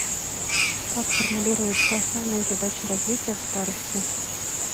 как формулируются основные задачи развития в старости